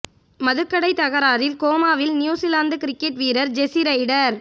மதுக்கடை தகராறில் கோமாவில் நியூசிலாந்து கிரிக்கெட் வீரர் ஜெஸி ரைடர்